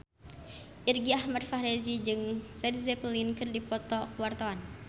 Irgi Ahmad Fahrezi jeung Led Zeppelin keur dipoto ku wartawan